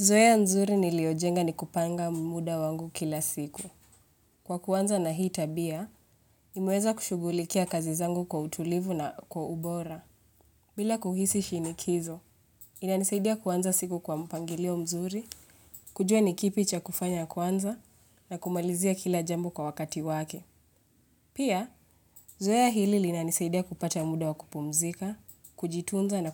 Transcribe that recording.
Zoeya nzuri niliojenga ni kupanga muda wangu kila siku. Kwa kuanza na hii tabia, nimeweza kushughulikia kazi zangu kwa utulivu na kwa ubora. Bila kuhisi shinikizo, inanisaidia kuanza siku kwa mpangilio mzuri, kujua ni kipi cha kufanya kwanza, na kumalizia kila jambo kwa wakati wake. Pia, zoeya hili linanisaidia kupata mda wa kupumzika, kujitunza na